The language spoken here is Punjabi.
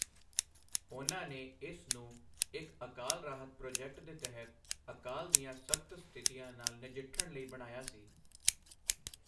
ਉਨ੍ਹਾਂ ਨੇ ਇਸ ਨੂੰ ਇੱਕ ਅਕਾਲ ਰਾਹਤ ਪ੍ਰੋਜੈਕਟ ਦੇ ਤਹਿਤ ਅਕਾਲ ਦੀਆਂ ਸਖ਼ਤ ਸਥਿਤੀਆਂ ਨਾਲ ਨਜਿੱਠਣ ਲਈ ਬਣਾਇਆ ਸੀ।